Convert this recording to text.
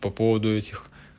по поводу этих